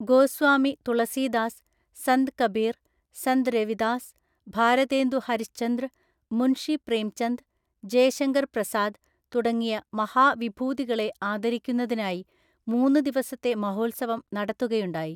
ഗോസ്വാമി തുളസീദാസ്, സന്ത് കബീർ, സന്ത് രവിദാസ്, ഭാരതേന്ദു ഹരിശ്ചന്ദ്ര്, മുൻഷി പ്രേംചന്ദ്, ജയശങ്കർ പ്രസാദ് തുടങ്ങിയ മഹാ വിഭൂതികളെ ആദരിക്കുന്നതിനായി മൂന്നു ദിവസത്തെ മഹോത്സവം നടത്തുകയുണ്ടായി.